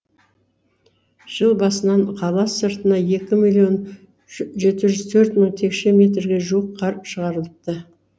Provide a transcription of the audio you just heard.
жыл басынан қала сыртына екі миллион жекті жүз төрт мың текше метрге жуық қар шығарылыпты